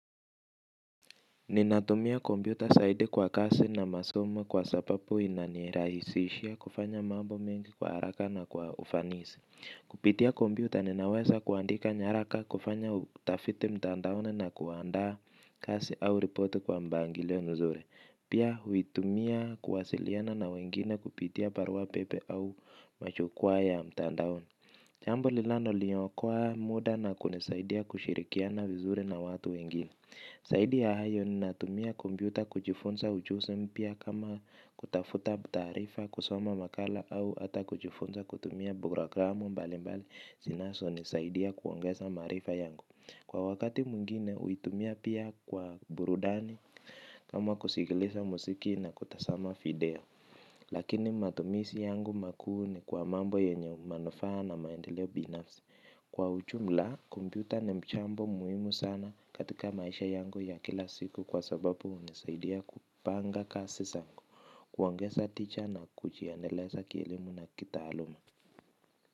Ninatumia kompyuta saidi kwa kasi na masomo kwa sapapu inanirahisishia kufanya mambo mengi kwa haraka na kwa ufanisi. Kupitia kompyuta ninaweza kuandika nyaraka, kufanya utafiti mtandaoni na kuandaa kasi au ripoti kwa mbangilio mzuri. Pia huitumia kuwasiliana na wengine kupitia parua pepe au machukwaa ya mtandaoni. Jambo linaloliokoa muda na kunisaidia kushirikiana vizuri na watu wengine. Zaidi ya hayo ninatumia kompyuta kujufunza ujuzi mpya kama kutafuta taarifa, kusoma makala au hata kujifunza kutumia programu mbali mbali zinazonisaidi kuongeza maarifa yangu. Kwa wakati mwingine huitumia pia kwa burudani, kama kusikiliza musiki na kutasama video. Lakini matumisi yangu makuu ni kwa mambo yenye manufaa na maendeleo binafsi. Kwa ujumla, kompyuta ni mchambo muhimu sana katika maisha yangu ya kila siku kwa sababu hunisaidia kupanga kasi zangu, kuongeza tija na kujiendeleza kielimu na kitaaluma.